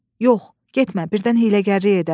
Yox, getmə, birdən hiyləgərlik edər.